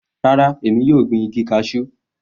Rárá, èmi yóò gbin igi cashew.